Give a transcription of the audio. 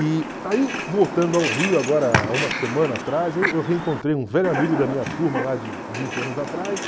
E aí, voltando ao Rio agora há uma semana atrás, eu reencontrei um velho amigo da minha turma lá de vinte anos atrás,